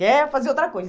Quer fazer outra coisa?